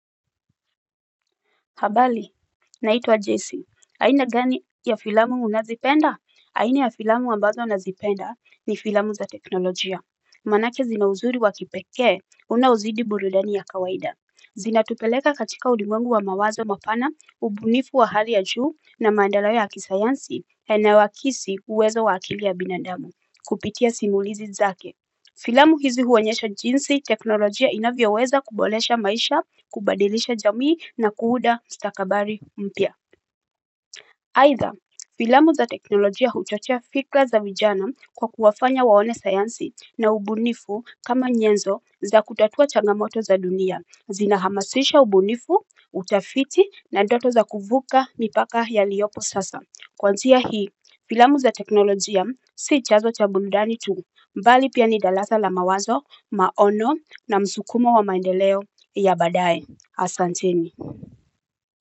Habali, naitwa Jason, aina gani ya filamu unazipenda? Aina ya filamu ambazo nazipenda ni filamu za teknolojia. Manake zina uzuri wa kipekee, unaozidi burudani ya kawaida. Zinatupeleka katika ulimwengu wa mawazo mapana, ubunifu wa hali ya juu na maendeleo ya kisayansi yanaoa hakisi uwezo wa akili ya binadamu, kupitia simulizi zake. Filamu hizi huonyesha jinsi, teknolojia inavyoweza kubolesha maisha, kubadilisha jamii na kuuda stakabari mpya. Aidha, filamu za teknolojia huchochea fikra za vijana kwa kuwafanya waone sayansi na ubunifu kama nyenzo za kutatua chagamoto za dunia, zina hamasisha ubunifu, utafiti na doto za kuvuka nipaka yaliopo sasa. Kwanzia hi, filamu za teknolojia si chanzo cha burudani tu, mbali pia ni dalasa la mawazo maono na msukumo wa maendeleo ya badae. Asanteni.